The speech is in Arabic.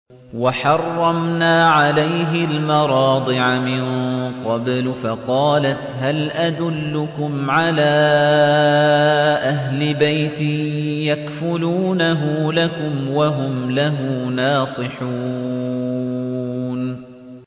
۞ وَحَرَّمْنَا عَلَيْهِ الْمَرَاضِعَ مِن قَبْلُ فَقَالَتْ هَلْ أَدُلُّكُمْ عَلَىٰ أَهْلِ بَيْتٍ يَكْفُلُونَهُ لَكُمْ وَهُمْ لَهُ نَاصِحُونَ